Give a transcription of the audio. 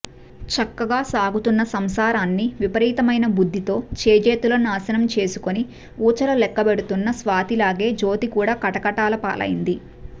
చక్కగా సాగుతున్న సంసారాన్ని విపరీతమైన బుద్ధితో చేజేతులా నాశనం చేసుకొని వూచలు లెక్కబెడుతున్న స్వాతిలాగే జ్యోతి కూడా కటకటాలపాలైంది